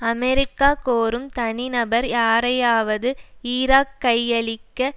America கோரும் தனிநபர் யாரையாவது ஈராக் கையளிக்க